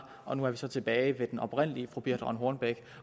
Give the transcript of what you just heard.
og nu er vi så tilbage ved den oprindelige fru birthe rønn hornbech